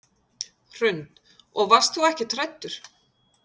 Hrund: Og varst þú ekkert hræddur?